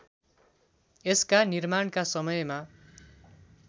यसका निर्माणका समयमा